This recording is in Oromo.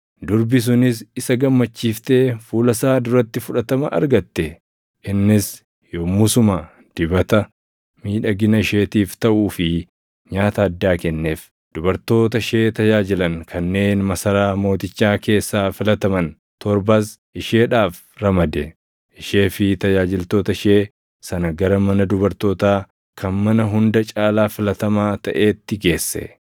Durbi sunis isa gammachiiftee fuula isaa duratti fudhatama argatte. Innis yommusuma dibata miidhagina isheetiif taʼuu fi nyaata addaa kenneef. Dubartoota ishee tajaajilan kanneen masaraa mootichaa keessaa filataman torbas isheedhaaf ramade; ishee fi tajaajiltoota ishee sana gara mana dubartootaa kan mana hunda caalaa filatamaa taʼeetti geesse.